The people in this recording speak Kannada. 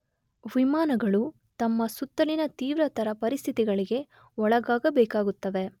ವಿಮಾನಗಳು ತಮ್ಮ ಸುತ್ತಲಿನ ತೀವ್ರತರ ಪರಿಸ್ಥಿತಿಗಳಿಗೆ ಒಳಗಾಗಬೇಕಾಗುತ್ತವೆ.